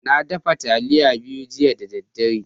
Na daffa talliya biyu jiya da dare.